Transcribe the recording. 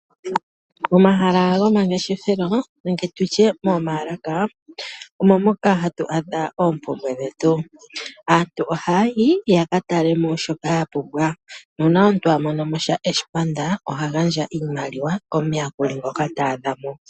Momahala gomangeshefelo nenge moomaalaka omo moka hatu adha oompumbwe dhetu. Aantu ohaya yi ya ka tale mo shoka ya pumbwa nuuna omuntu a mono sha eshi panda oha gandja iimaliwa komuyakuli ngoka ta adha mo.